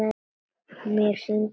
Mér sýndist þetta líka.